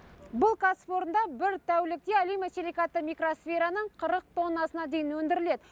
бұл кәсіпорында бір тәулікте алюмосиликатты микросфераның қырық тоннасына дейін өндіріледі